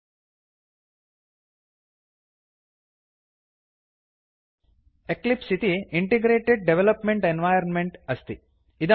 Eclipse इति integrated development environment integrated development environment अस्ति